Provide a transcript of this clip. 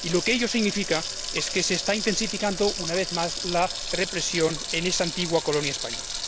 Ello significa que se está intensificando, una vez más, la represión en esa antigua colonia española.